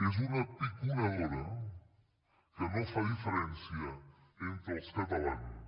és una piconadora que no fa diferència entre els catalans